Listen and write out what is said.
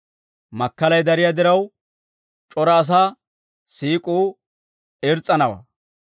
Makkalay dariyaa diraw, c'ora asaa siik'uu irs's'anawaa.